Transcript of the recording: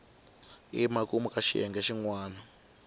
emakumu ka xiyenge xin wana